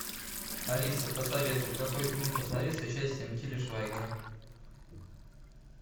алиса посоветуй какой фильм посмотреть с участием тиля швайгера